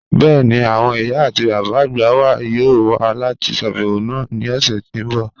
Bẹ́ẹ̀ni, awọn iyà ati baba agba wà yọọ̀ wà lati ṣàbẹwo wa ni ọṣẹ̀ ti n bọ́